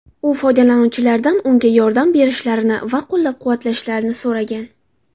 U foydalanuvchilardan unga yordam berishlarini va qo‘llab-quvvatlashlarini so‘ragan.